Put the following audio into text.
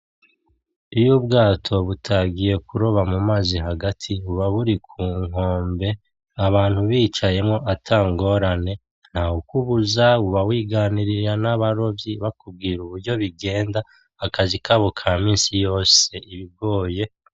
Iyo ubwato butagiye kuroba mu mazi hagati buba buri ku nkombe, abantu bicayemwo ata ngorane. Nta wukubuza, uba wiganirira n'abarovyi bakubwira uburyo bigenda akazi kabo ka minsi yose ibigoye.